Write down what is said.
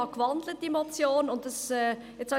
Ich habe die Motion gewandelt.